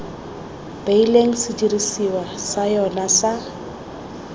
beileng sedirisiwa sa yona sa